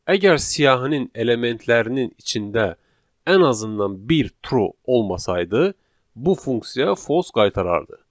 Əgər siyahının elementlərinin içində ən azından bir true olmasaydı, bu funksiya false qaytarardı.